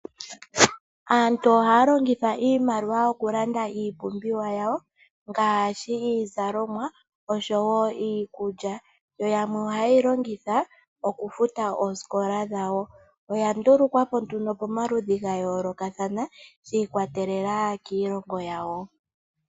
Aantu ohaya longitha iimaliwa okulanda iipumbiwa yawo ngaashi iizalomwa oshowo iikulya yo yamwe ohaye yi longitha okufuta oosikola dhawo. Oya ndulukwapo nduno pomaludhi ga yoolokathana shiikwatelela kiilongo yawo.